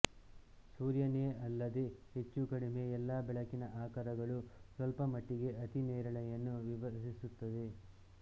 ಸೂರ್ಯನೇ ಅಲ್ಲದೆ ಹೆಚ್ಚುಕಡಿಮೆ ಎಲ್ಲ ಬೆಳಕಿನ ಆಕರಗಳೂ ಸ್ವಲ್ಪಮಟ್ಟಿಗೆ ಅತಿ ನೇರಿಳೆಯನ್ನು ವಿಸರಿಸುತ್ತವೆ